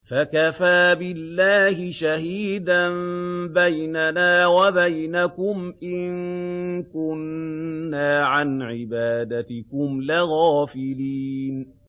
فَكَفَىٰ بِاللَّهِ شَهِيدًا بَيْنَنَا وَبَيْنَكُمْ إِن كُنَّا عَنْ عِبَادَتِكُمْ لَغَافِلِينَ